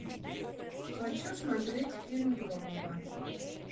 хочу смотреть фильм громовы